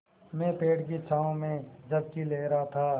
मैं पेड़ की छाँव में झपकी ले रहा था